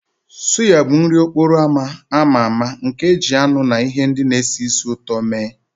Suya bụ nri n'okporo ámá a ma ama nke e ji anụ na ihe ndị na-esi ísì ụtọ mee